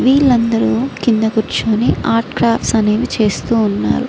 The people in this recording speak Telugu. వీళ్ళు అందరు కింద కూర్చొని ఆట్ క్రాస్ అనేవి చేస్తూవున్నారు.